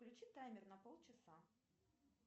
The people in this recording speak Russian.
включи таймер на полчаса